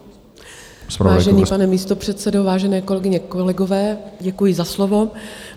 Vážený pane místopředsedo, vážené kolegyně, kolegové, děkuji za slovo.